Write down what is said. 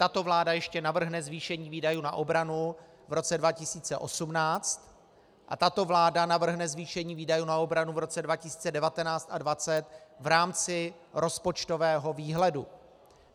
Tato vláda ještě navrhne zvýšení výdajů na obranu v roce 2018 a tato vláda navrhne zvýšení výdajů na obranu v roce 2019 a 2020 v rámci rozpočtového výhledu.